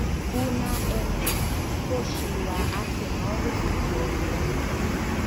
Una Emeri: Kũci wa Aseno gũbũtwo wĩra.